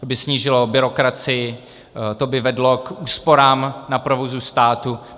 To by snížilo byrokracii, to by vedlo k úsporám na provozu státu.